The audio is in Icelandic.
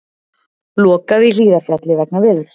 Lokað í Hlíðarfjalli vegna veðurs